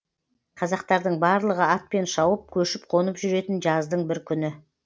қазақтардың барлығы атпен шауып көшіп қонып жүретін жаздың бір күні